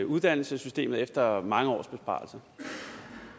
uddannelsessystemet efter mange års besparelser